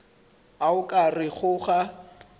a o ka rego ga